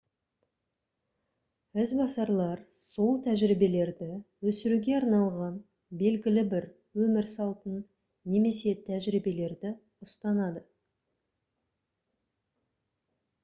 ізбасарлар сол тәжірибелерді өсіруге арналған белгілі бір өмір салтын немесе тәжірибелерді ұстанады